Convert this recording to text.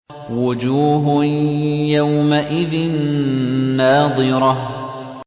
وُجُوهٌ يَوْمَئِذٍ نَّاضِرَةٌ